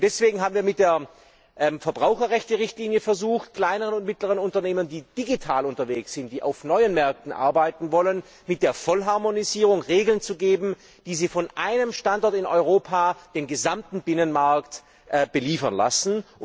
Deswegen haben wir versucht, mit der Verbraucherrechte Richtlinie kleinen und mittleren Unternehmen, die digital unterwegs sind, die auf neuen Märkten arbeiten wollen, mit der Vollharmonisierung Regeln zu geben, die sie von einem Standort in Europa den gesamten Binnenmarkt beliefern lassen.